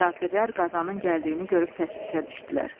Kafirlər Qazanın gəldiyini görüb təşvişə düşdülər.